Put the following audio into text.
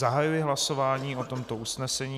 Zahajuji hlasování o tomto usnesení.